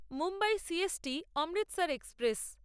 Mumbai C S T Amritsar express